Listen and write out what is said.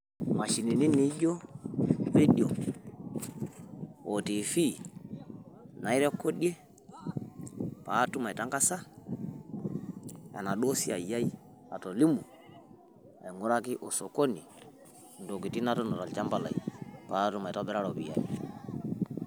Imashinini neijo, radio o T.V nairekodie pee atum aitangaza enaduo siai ai atolimu aing`uraki o sokoni ntokitin natuuno tolchamba lai pee atum anoto irropiyiani.